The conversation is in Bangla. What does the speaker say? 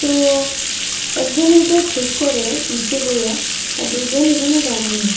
তো একজন এইটা ঠিক করে নীচে বইয়া আর দুইজন এখানে দাঁড়ানি।